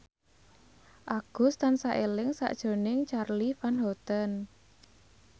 Agus tansah eling sakjroning Charly Van Houten